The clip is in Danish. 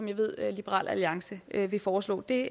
jeg ved at liberal alliance vil foreslå det